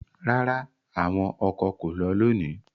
Rara, awọn ọkọ ko lọ loni